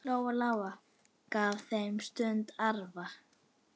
Lóa-Lóa gaf þeim stundum arfa.